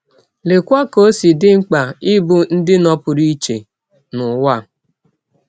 Leekwa ka ọ si dị mkpa ịbụ ndị nọpụrụ iche n’ụwa a!